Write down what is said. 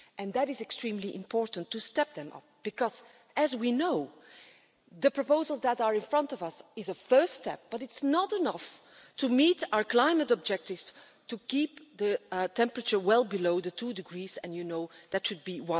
It is extremely important to step them up because, as we know, the proposals that are in front of us are a first step but are not enough to meet our climate objectives to keep the temperature well below the 2 degrees and, you know, that should be